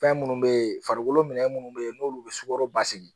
Fɛn minnu bɛ yen farikolo minɛ minnu bɛ yen n'olu bɛ sukaro basigi